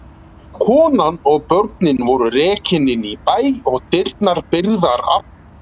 Konan og börnin voru rekin inn í bæ og dyrnar byrgðar aftur.